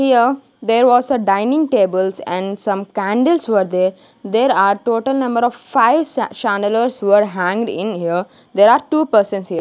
here there was a dining tables and some candles were there there are total number of five were hanged in near there are two persons here.